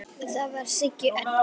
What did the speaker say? Það var Siggi Öddu.